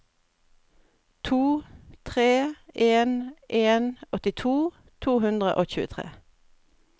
to tre en en åttito to hundre og tjuetre